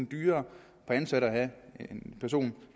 dyrere per ansat at have en person